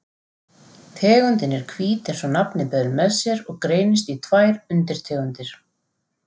Tegundin er hvít eins og nafnið ber með sér og greinist í tvær undirtegundir.